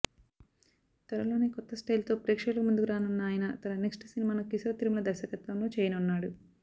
త్వరలోనే కొత్త స్టైల్ తో ప్రేక్షకుల ముందుకురానున్న ఆయన తన నెక్స్ట్ సినిమాను కిశోర్ తిరుమల దర్శకత్వంలో చేయనున్నాడు